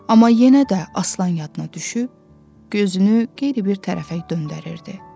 Amma yenə də aslan yadına düşüb, gözünü qeyri-bir tərəfə döndərirdi.